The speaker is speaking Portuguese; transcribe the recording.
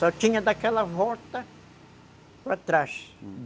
Só tinha daquela volta para trás, uhum.